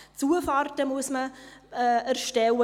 Man muss Zufahrten erstellen;